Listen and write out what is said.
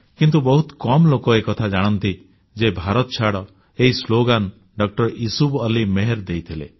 କିନ୍ତୁ ବହୁତ କମ ଲୋକ ଏକଥା ଜାଣନ୍ତି ଯେ ଭାରତଛାଡ଼ ଏହି ସ୍ଲୋଗାନ ଡଃ ୟୁସୁଫ୍ ମେହର୍ ଅଲି ଦେଇଥିଲେ